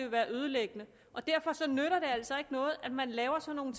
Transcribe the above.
være ødelæggende og derfor nytter det altså ikke noget at man laver sådan